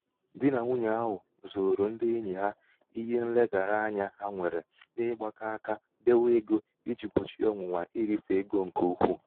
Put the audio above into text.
di na nwunyè ahụ zooro ndị enyì ha ihe nlegara anyā ha nwèrè n’ịgbākọ̄ aka dewe ego ijī gbòchie ọ̀nwụ̀nwà irīfè egō ṅ̀kè ukwu.